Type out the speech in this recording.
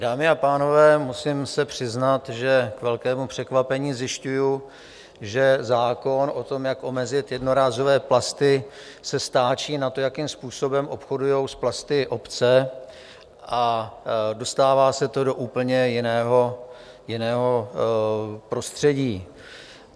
Dámy a pánové, musím se přiznat, že k velkému překvapení zjišťuji, že zákon o tom, jak omezit jednorázové plasty, se stáčí na to, jakým způsobem obchodují s plasty obce, a dostává se to do úplně jiného prostředí.